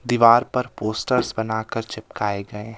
दीवार पर पोस्टर्स बनाकर चिपकाए गए--